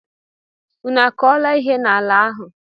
Unu akọla ihe n'ala ahụ!